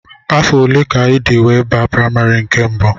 Afọ ole ka ịdị wee baa primary nke mbụ?